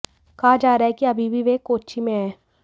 कहा जा रहा है कि अभी वे कोच्चि में हैं